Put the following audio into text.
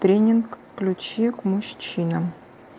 тренинг ключи к мужчинам